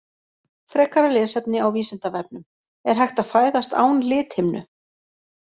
Frekara lesefni á Vísindavefnum: Er hægt að fæðast án lithimnu?